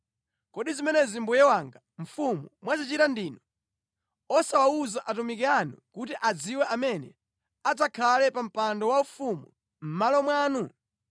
Kodi zimenezi mbuye wanga mfumu mwazichita ndinu, osawawuza atumiki anu kuti adziwe amene adzakhale pa mpando waufumu mʼmalo mwanu?”